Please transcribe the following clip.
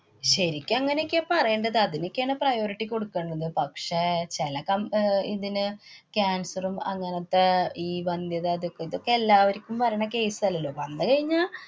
ശരിക്ക് അങ്ങനെയൊക്കെയാ പറയേണ്ടത്. അതിനൊക്കേണ് priority കൊടുക്കേണ്ടത്. പക്ഷേ ചെല കം~ അഹ് ഇതിനു cancer ഉം അങ്ങനത്തെ ഈ വന്ധ്യതാ ഇതൊക്കെ. ഇതൊക്കെ എല്ലാവര്ക്കും വരണ case അല്ലല്ലോ. വന്നു കഴിഞ്ഞാ